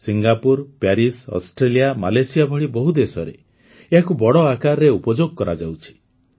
Singapore Paris Australia Malaysia ଭଳି ବହୁ ଦେଶରେ ଏହାକୁ ବଡ଼ ଆକାରରେ ଉପଯୋଗ କରାଯାଉଛି